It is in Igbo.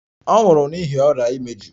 Ọ nwụrụ n'ihi ọrịa imeju.